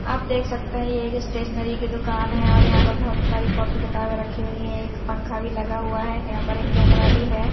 आप देख सकते हैं ये एक स्टेशनरी की दुकान है और यहां पर बहोत सारी कॉपी किताबें रखी हुई हैं एक पंखा भी लगा हुआ है यहां पर एक कैमरा भी है।